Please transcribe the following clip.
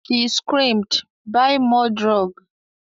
She screamed "Buy more drug"